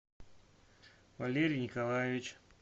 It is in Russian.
валерий николаевич